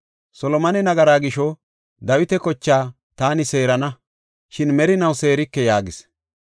Solomone nagaraa gisho taani Dawita kochaa seerana; shin merinaw seerike’ ” yaagis.